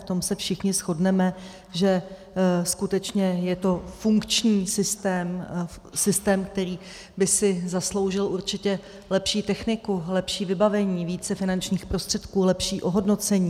V tom se všichni shodneme, že skutečně je to funkční systém, systém, který by si zasloužil určitě lepší techniku, lepší vybavení, více finančních prostředků, lepší ohodnocení.